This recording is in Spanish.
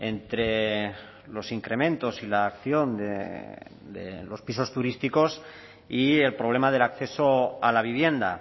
entre los incrementos y la acción de los pisos turísticos y el problema del acceso a la vivienda